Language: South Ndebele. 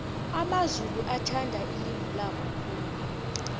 amamzulu athanda ilimi labo khulu